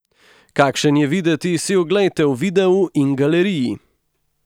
Kakšen je videti, si oglejte v videu in galeriji!